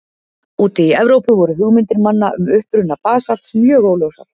Úti í Evrópu voru hugmyndir manna um uppruna basalts mjög óljósar.